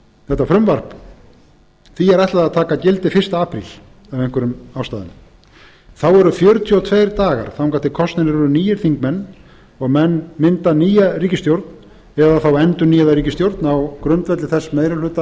þetta frumvarp því er ætlað að taka gildi fyrsta apríl af einhverjum ástæðum þá eru fjörutíu og tveir dagar þangað til kosnir eru nýir þingmenn og menn mynda nýja ríkisstjórn eða þá endurnýjaða ríkisstjórn á grundvelli þess meiri